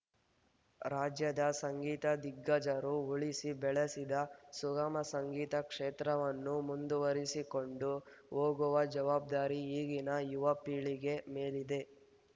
ರಾಜ್ಯದ ಸಂಗೀತ ದಿಗ್ಗಜರು ಉಳಿಸಿ ಬೆಳೆಸಿದ ಸುಗಮ ಸಂಗೀತ ಕ್ಷೇತ್ರವನ್ನು ಮುಂದುವರೆಸಿಕೊಂಡು ಹೋಗುವ ಜವಾಬ್ದಾರಿ ಈಗಿನ ಯುವ ಪೀಳಿಗೆ ಮೇಲಿದೆ